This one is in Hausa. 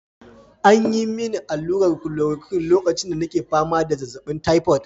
An yi mini allurar chloroquine lokacin da nake fama da zazzabin typhoid.